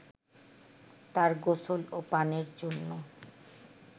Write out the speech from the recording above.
তার গোসল ও পানের জন্য